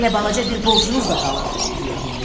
Hələ balaca bir borcunuz da qalır.